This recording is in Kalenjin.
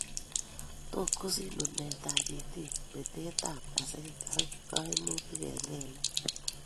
Tot kosich nuneet ab itit, betet ab kaseet ak kaimutik eng' kelek